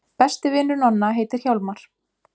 Besti vinur Nonna heitir Hjálmar.